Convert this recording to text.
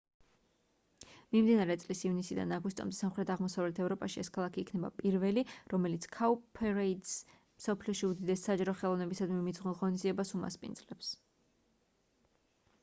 მიმდინარე წლის ივნისიდან აგვისტომდე სამხრეთ-აღმოსავლეთ ევროპაში ეს ქალაქი იქნება პირველი რომელიც cowparade-ს მსოფლიოში უდიდეს საჯარო ხელოვნებისადმი მიძღვნილ ღონისძიებას უმასპინძლებს